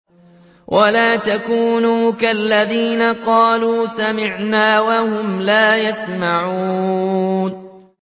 وَلَا تَكُونُوا كَالَّذِينَ قَالُوا سَمِعْنَا وَهُمْ لَا يَسْمَعُونَ